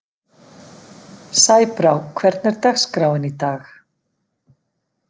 Sæbrá, hvernig er dagskráin í dag?